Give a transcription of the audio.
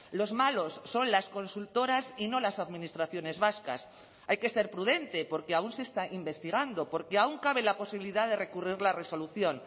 los malos son las consultoras y no las administraciones vascas hay que ser prudente porque aún se está investigando porque aún cabe la posibilidad de recurrir la resolución